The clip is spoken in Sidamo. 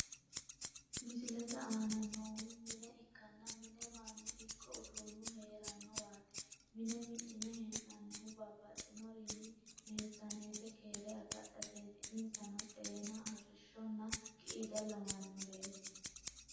Misilete aana noohu mine ikkanna, mine mannu ikko uudunu heeranowati. Mine mi'nine hee'nanihu babbaxinorini meesaneti keere agadhateti. inisano:- xeena, arisho ,nna qiida lawanoreti.